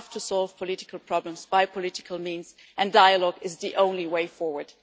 We have to solve political problems by political means and dialogue is the only way forward.